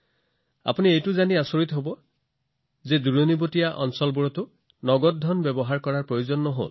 আপোনালোকে এইটো জানি আনন্দিত হব যে বহু দিনীয়া এই যাত্ৰাত তেওঁলোকে দূৰৱৰ্তী অঞ্চলতো নগদ ধন উলিয়াব লগা হোৱা নাছিল